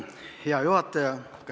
Hea juhataja!